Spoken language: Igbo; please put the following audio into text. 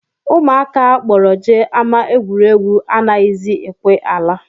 Ụmụaka a kpọrọ jee ama egwuregwu anaghịzi ekwe ala